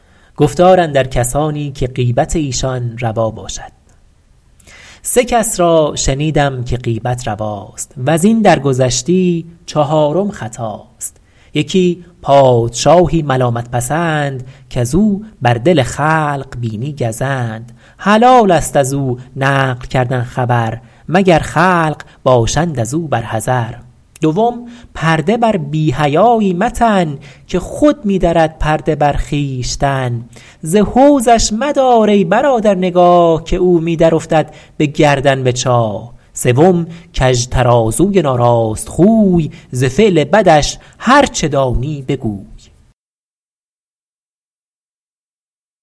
سه کس را شنیدم که غیبت رواست وز این درگذشتی چهارم خطاست یکی پادشاهی ملامت پسند کز او بر دل خلق بینی گزند حلال است از او نقل کردن خبر مگر خلق باشند از او بر حذر دوم پرده بر بی حیایی متن که خود می درد پرده بر خویشتن ز حوضش مدار ای برادر نگاه که او می درافتد به گردن به چاه سوم کژ ترازوی ناراست خوی ز فعل بدش هرچه دانی بگوی